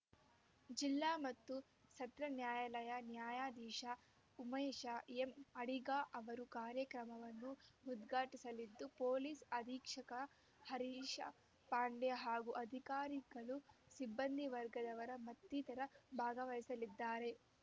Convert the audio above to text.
ಜಿಲ್ಲಾ ಮತ್ತು ಸತ್ರ ನ್ಯಾಯಾಲಯ ನ್ಯಾಯಾಧೀಶ ಉಮೇಶ ಎಂ ಅಡಿಗ ಅವರು ಕಾರ್ಯಕ್ರಮವನ್ನು ಉದ್ಘಾಟಿಸಲಿದ್ದು ಪೊಲೀಸ್‌ ಅಧೀಕ್ಷಕ ಹರೀಶ ಪಾಂಡೆ ಹಾಗೂ ಅಧಿಕಾರಿಗಳು ಸಿಬ್ಬಂದಿವರ್ಗದವರ ಮತ್ತಿತರರು ಭಾಗವಸಲಿದ್ದಾರೆ